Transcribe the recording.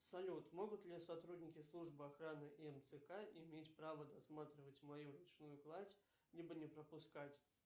салют могут ли сотрудники службы охраны и мцк иметь право досматривать мою ручную кладь либо не пропускать